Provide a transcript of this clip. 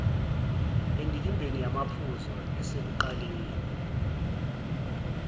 endikimbeni yamaphuzu esekuqaleni